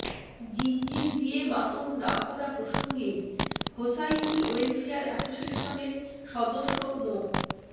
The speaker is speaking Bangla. জিঞ্জির দিয়ে মাতম না করা প্রসঙ্গে হোসাইনী ওয়েলফেয়ার অ্যাসোসিয়েশনের সদস্য মো